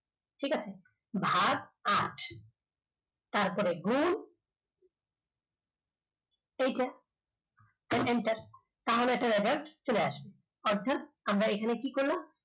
ঠিক আছে ভাগ আট তারপরে গুণ এইটা তারপরে enter তাহলে একটা জায়গায় চলে আসবে অর্থাৎ আমরা এখানে কি করলাম